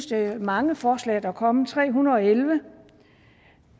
det er mange forslag der er kommet tre hundrede og elleve